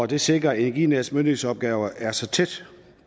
det sikrer at energinets myndighedsopgaver er så tæt